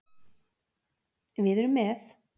Við erum með.